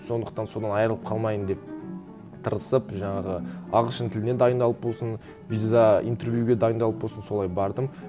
сондықтан содан айырылып қалмайын деп тырысып жаңағы ағылшын тілінен дайындалып болсын виза интервьюге дайындалып болсын солай бардым